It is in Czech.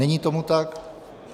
Není tomu tak.